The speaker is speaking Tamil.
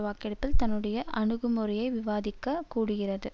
வாக்கெடுப்பில் தன்னுடைய அணுகுமுறையை விவாதிக்க கூடுகிறது